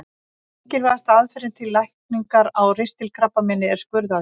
Mikilvægasta meðferðin til lækningar á ristilkrabbameini er skurðaðgerð.